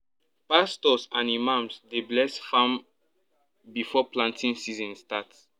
pastors and imams dey bless farm before planting season start